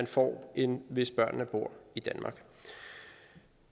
får end hvis børnene bor i danmark